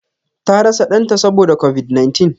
Ta rasa Dan ta Saboda covid-19.